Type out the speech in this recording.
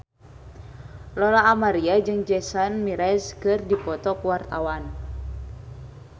Lola Amaria jeung Jason Mraz keur dipoto ku wartawan